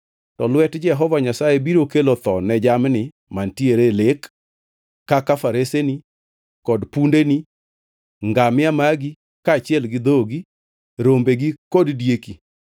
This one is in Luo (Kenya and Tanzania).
to lwet Jehova Nyasaye biro kelo tho ne jamni mantiere lek kaka fareseni kod pundeni, ngamia magi kaachiel gi dhogi, rombegi kod dieki.